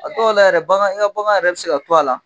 A dɔw la yɛrɛ bagan i ka bagan yɛrɛ bɛ se ka to a la.